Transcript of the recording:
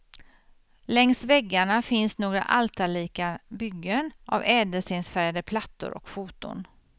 Längs väggarna finns några altarlika byggen av ädelstensfärgade plattor och foton.